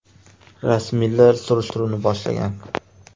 Rasmiylar surishtiruvni boshlagan.